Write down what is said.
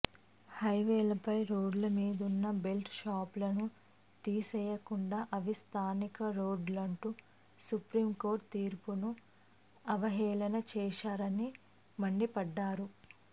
హైవేలపై రోడ్లమీదున్న బెల్ట్ షాపులను తీసేయకుండా అవి స్థానిక రోడ్లంటూ సుప్రీంకోర్టు తీర్పును అవహేళన చేశారని మండిపడ్డారు